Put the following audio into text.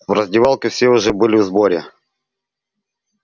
в раздевалке все уже были в сборе